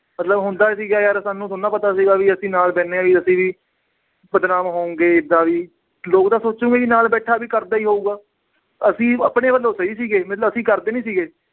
ਮਤਲਬ ਹੁੰਦਾ ਸੀਗਾ ਯਾਰ ਸਾਨੂੰ ਥੋੜ੍ਹਾ ਨਾ ਪਤਾ ਸੀਗਾ ਵੀ ਅਸੀਂ ਨਾਲ ਬਹਿੰਦੇ ਹਾਂ ਵੀ ਅਸੀਂ ਵੀ ਬਦਨਾਮ ਹੋਵਾਂਗਾ ਏਦਾਂ ਵੀ ਲੋਕ ਤਾਂ ਸੋਚਣਗੇ ਕਿ ਨਾਲ ਬੈਠਾ ਵੀ ਕਰਦਾ ਹੀ ਹੋਊਗਾ, ਅਸੀਂ ਆਪਣੇ ਵੱਲੋਂ ਸਹੀ ਸੀਗੇ ਮਤਲਬ ਅਸੀਂ ਕਰਦੇ ਨੀ ਸੀਗੇ